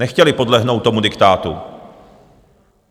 Nechtěli podlehnout tomu diktátu.